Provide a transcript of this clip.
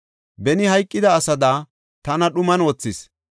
Beni hayqida asada tana dhuman wothis.